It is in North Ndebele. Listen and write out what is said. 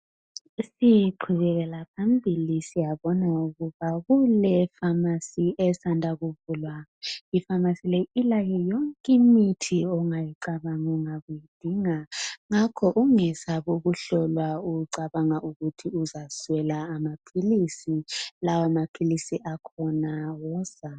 Siqhubekela phambili siyabona ukuba kule famasi esanda kuvulwa ifamasi leyi ilayo yonke imithi ongayicabanga ungabuyidinga ngakho ungesabi ukuhlolwa ucabanga ukuthi uzaswela amaphilisi lawo maphilisi akhona buya.